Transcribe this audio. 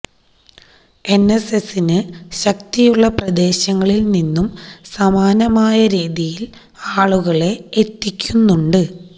എൻഎസ്എസ്സിന് ശക്തിയുള്ള പ്രദേശങ്ങളില് നിന്നും സമാനമായ രീതിയിൽ ആളുകളെ എത്തിക്കുന്നുണ്ട്